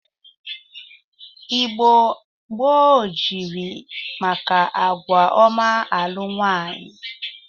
Igbo gboo jiri maka agwa ọma alụ nwaanyị.